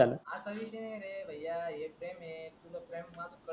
आशा विषय नाही रे भय्या एक टाइम येईल तुला स्वायंपाक.